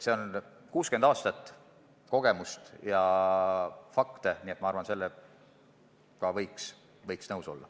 See põhineb 60 aasta kogemusel ja faktidel ning ma arvan, et sellega võiks nõus olla.